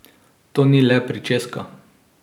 To ni le pričeska.